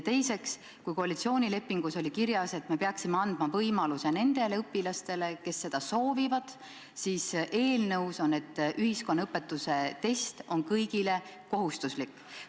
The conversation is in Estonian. Teiseks, kui koalitsioonilepingus oli kirjas, et me peaksime andma võimaluse nendele õpilastele, kes seda soovivad, siis eelnõus on öeldud, et ühiskonnaõpetuse test on kõigile kohustuslik.